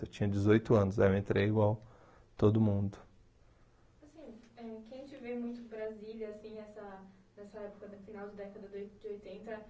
Eu tinha dezoito anos. Aí eu entrei igual todo mundo. Assim, eh quem te vê muito Brasília, assim, nessa nessa época do final da década de oitenta...